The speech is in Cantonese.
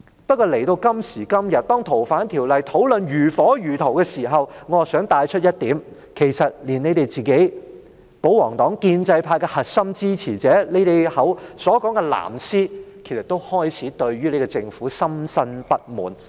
不過，當今時今日對"逃犯條例"的討論如火如荼時，我想帶出一點，其實連保皇黨、建制派的核心支持者、你們說的所謂"藍絲"，也開始對政府深深不滿。